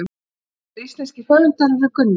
Aðrir íslenskir höfundar eru Gunnar